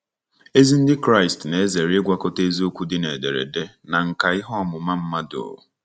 Ezi Ndị Kraịst na-ezere ịgwakọta eziokwu dị na ederede na nkà ihe ọmụma mmadụ.